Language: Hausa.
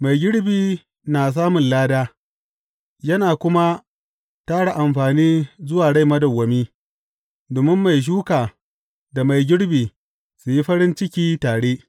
Mai girbi na samun lada, yana kuma tara amfani zuwa rai madawwami, domin mai shuka da mai girbi su yi farin ciki tare.